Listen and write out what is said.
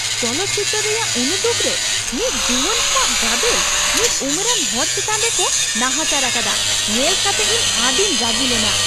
ᱪᱚᱞᱚᱛ ᱪᱤᱛᱟᱹᱨ ᱨᱮᱭᱟᱜ ᱩᱱᱩᱫᱩᱜ ᱨᱮ ᱢᱤᱫ ᱡᱩᱣᱟᱹᱱ ᱠᱚᱣᱟᱜ ᱠᱟᱫᱮᱞ ᱢᱤᱫ ᱩᱢᱮᱨᱟᱱ ᱦᱚᱲ ᱪᱮᱛᱟᱱ ᱨᱮ ᱠᱚ ᱱᱟᱦᱟᱪᱟᱨ ᱟᱠᱟᱫᱟ ᱧᱮᱞ ᱠᱟᱛᱮ ᱤᱧ ᱟᱹᱰᱤᱧ ᱨᱟᱹᱜᱤ ᱞᱮᱱᱟ ᱾